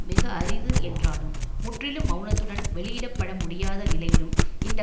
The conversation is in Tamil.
மிக அரிது என்றாலும் முற்றிலும் மெளனத்துடன் வெளியிடப்பட முடியாத நிலையிலும் இந்த